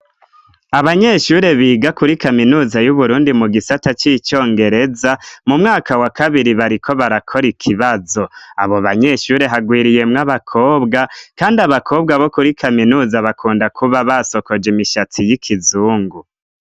Abanyeshure biga kuri kaminuza y'Uburundi mu gisata c'icongereza, mu mwaka wa kabiri, bariko barakora ikibazo, abo banyeshure hagwiriyemwo abakobwa, kandi abakobwa bo kuri kaminuza bakunda kuba basokoje imishatsi y'ikizungu.